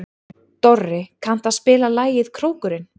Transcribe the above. Dorri, kanntu að spila lagið „Krókurinn“?